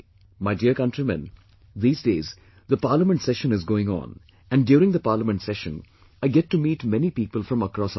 My dear countrymen these days, the Parliament Session is going on, and during the Parliament Session, I get to meet many people from across our nation